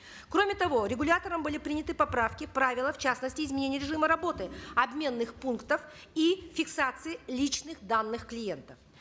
кроме того регулятором были приняты поправки правила в частности изменения режима работы обменных пунктов и фиксации личных данных клиентов